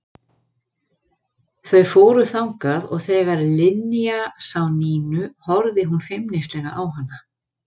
Þau fóru þangað og þegar Linja sá Nínu horfði hún feimnislega á hana.